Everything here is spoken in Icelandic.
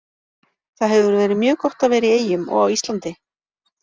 Það hefur verið mjög gott að vera í Eyjum og á Íslandi.